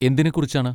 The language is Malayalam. എന്തിനെ കുറിച്ചാണ്?